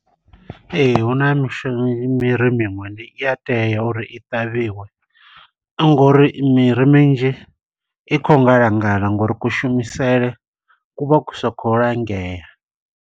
Ee, hu na mishu miri miṅwe ndi i a tea uri i ṱavhiwe, ngo uri miri minzhi i khou ngala ngala ngo uri kushumisele kuvha ku sa khou langea.